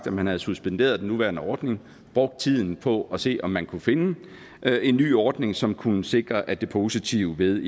man havde suspenderet den nuværende ordning brugt tiden på at se om man kunne finde en ny ordning som kunne sikre at det positive ved